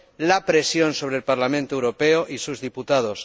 la presión sobre el Parlamento Europeo y sus diputados